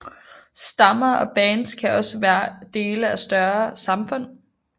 Stammer og bands kan også være dele af større samfund